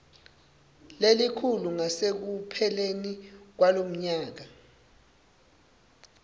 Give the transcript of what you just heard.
lelikhulu ngasekupheleni kwalomnyaka